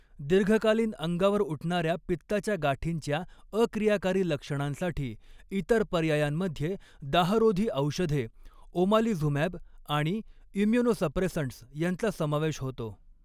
दीर्घकालीन अंगावर उठणाऱ्या पित्ताच्या गाठींच्या अक्रियाकारी लक्षणांसाठी इतर पर्यायांमध्ये दाहरोधी औषधे, ओमालिझुमॅब आणि इम्युनोसप्रेसंट्स यांचा समावेश होतो.